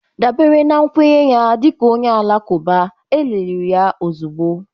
dabere na nkwenye ya dị ka onye Alakụba, e liri ya ozugbo